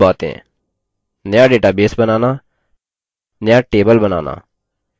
नया database बनाना नया table बनाना